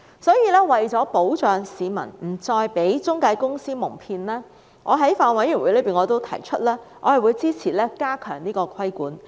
所以，為了保障市民不再被中介公司蒙騙，我在法案委員會上表示我會支持加強規管。